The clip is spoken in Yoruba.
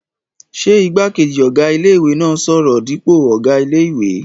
Ṣé igbákejì ọ̀gá ilé-ìwé náà n sọ̀rọ̀ dípò ọ̀gá ilé-ìwé?